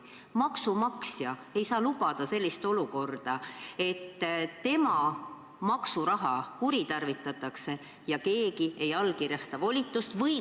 Maksumaksja ei saa lubada sellist olukorda, et tema maksuraha kuritarvitatakse ja keegi ei allkirjasta volitust.